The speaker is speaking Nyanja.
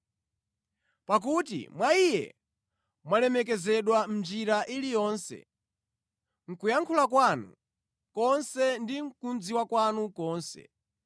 Pakuti mwa Iye mwalemekezedwa mʼnjira iliyonse, mʼkuyankhula kwanu konse ndi mʼkudziwa kwanu konse,